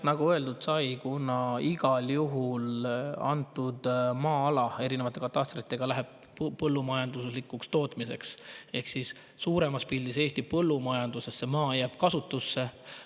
Nagu öeldud sai, antud maa-ala läheb erinevate katastritena igal juhul põllumajanduslikuks tootmiseks ehk siis suuremas pildis jääb see maa Eesti põllumajanduses kasutusse.